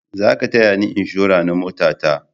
Za ka taya ni inshora na mota ta!